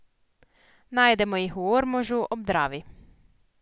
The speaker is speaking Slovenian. Najdemo jih v Ormožu, ob Dravi.